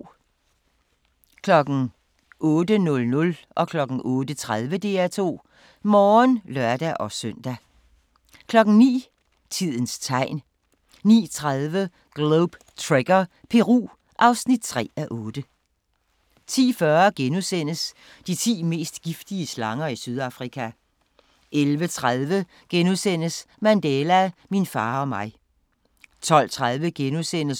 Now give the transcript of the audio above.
08:00: DR2 Morgen (lør-søn) 08:30: DR2 Morgen (lør-søn) 09:00: Tidens Tegn 09:50: Globe Trekker – Peru (3:8) 10:40: De ti mest giftige slanger i Sydafrika * 11:30: Mandela – min far og mig * 12:30: